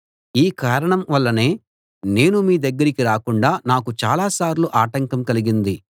ఈ కారణం వల్లనే నేను మీ దగ్గరికి రాకుండా నాకు చాలా సార్లు ఆటంకం కలిగింది